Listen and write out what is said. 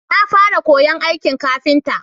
Na fara koyan aikin kafinta